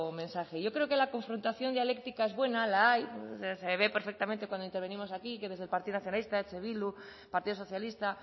mensaje yo creo que la confrontación dialéctica es buena la hay se ve perfectamente cuando intervenimos aquí que desde el partido nacionalista eh bildu partido socialista